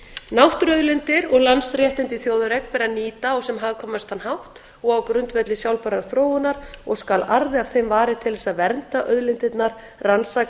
náttúruauðlindir og landsréttindi í þjóðareign ber að nýta á sem hagkvæmastan hátt og á grundvelli sjálfbærrar þróunar og skal arði af þeim varið til þess að vernda auðlindirnar rannsaka